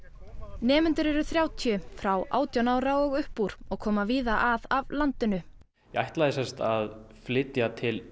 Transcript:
nemendur eru þrjátíu frá átján ára og upp úr og koma víða að af landinu ég ætlaði semsagt að flytja til